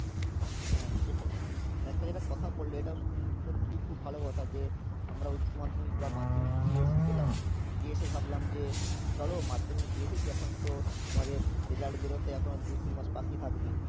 উম হ্যাঁ সেটাই, তা একটা যেটা কথা বললে এটাও সু~ সত্যি খুব ভালো কথা যে আমরা যে উচ্চ্যমাধ্যমকি বা মাধ্যমিক দিয়ে এসছিলাম, দিয়ে এসে ভাবলাম যে চলো মাধ্যমিক দিয়ে এসেছি, এখন তো আমাদের result বেরোতে এখনো দু তিন মাস বাকি থাকবে